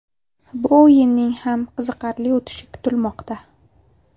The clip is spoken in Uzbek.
Bu o‘yinning ham qiziqarli o‘tishi kutilmoqda.